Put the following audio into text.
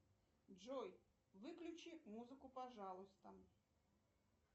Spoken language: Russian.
джой выключи музыку пожалуйста